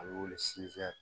A bɛ wele